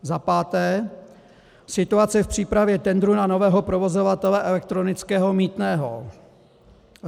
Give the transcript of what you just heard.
za páté - situace v přípravě tendru na nového provozovatele elektronického mýtného.